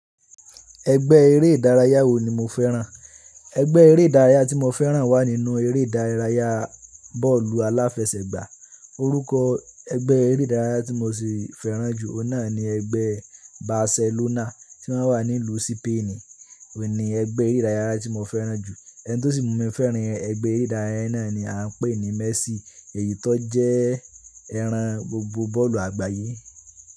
Ẹgbẹ́ eré ìdárayá wo ni mo fẹ́ràn? Ẹgbẹ́ eré ìdárayá tí mo fẹ́ràn wà nínú eré ìdárayá bọ́ọ̀lù aláfẹsẹ̀gbá. Orúkọ ẹgbẹ́ eré ìdárayá tí mo sì fẹ́ràn jù náà ni ẹgbẹ́ Barcelona tí wọ́n wà ní ìlú Spain. Òun ni ẹgbẹ́ eré ìdárayá tí mo fẹ́ràn jù. Ẹni tí ó sì mú mi fẹ́ràn ẹgbẹ́ eré ìdárayá náà ni à ń pè ní Messi èyí tó jẹ́ ẹran gbogbo bọ́ọ̀lù àgbáyé.